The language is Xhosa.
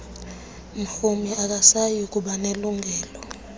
mrhumi akasayi kubanelungelo